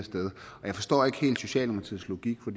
jeg forstår ikke helt socialdemokratiets logik for